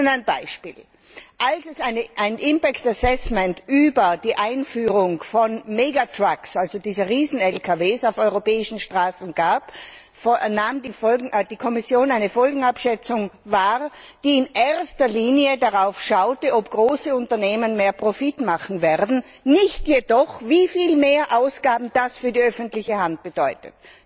Ich nenne ein Beispiel Als es ein impact assessment über die Einführung von Megatrucks, also diese Riesen Lkw, auf europäischen Straßen gab, nahm die Kommission eine Folgenabschätzung wahr, die in erster Linie darauf schaute, ob große Unternehmen mehr Profit machen werden, nicht jedoch, wie viel mehr Ausgaben das für die öffentliche Hand bedeutet.